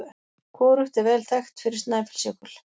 Hvorugt er vel þekkt fyrir Snæfellsjökul.